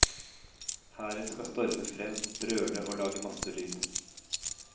Hæren skal storme frem, brøle og lage masse lyd.